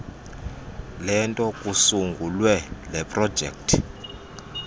lento kusungulwe leprojekthi